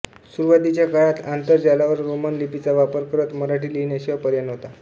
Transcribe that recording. सुरुवातीच्या काळात आंतरजालावर रोमन लिपीचा वापर करत मराठी लिहिण्याशिवाय पर्याय नव्हता